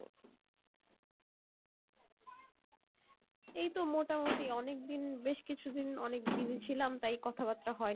এই তো মোটামুটি অনেকদিন বেশ কিছু দিন অনেক busy ছিলাম তাই কথা বার্তা হয়ে নি